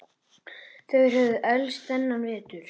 Þeir höfðu elst þennan vetur.